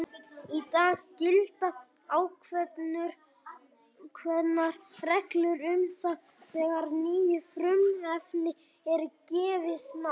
Í dag gilda ákveðnar reglur um það þegar nýju frumefni er gefið nafn.